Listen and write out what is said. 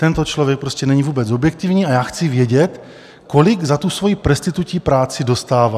Tento člověk prostě není vůbec objektivní a já chci vědět, kolik za tu svoji presstitutí práci dostává.